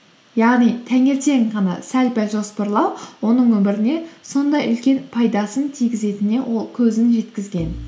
яғни таңертең ғана сәл пәл жоспарлау оның өміріне сондай үлкен пайдасын тигізетіне ол көзін жеткізген